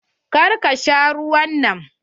Kar ka sha ruwan nan.